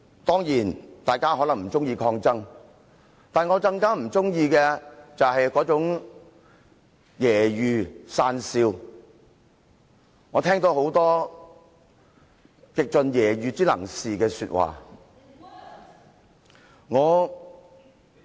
當然，大家可能不喜歡抗爭，但我更不喜歡的是那種揶揄、訕笑。我聽到很多極盡揶揄之能事的說話。